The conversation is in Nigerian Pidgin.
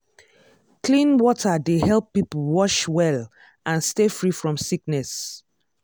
clean water dey help people wash well and stay free from sickness.